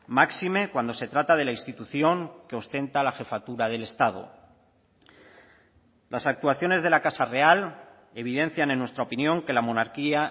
máxime cuando se trata de la institución que ostenta la jefatura del estado las actuaciones de la casa real evidencian en nuestra opinión que la monarquía